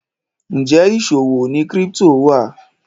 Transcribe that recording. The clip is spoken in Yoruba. Njé ìṣòwò ní crypto wa?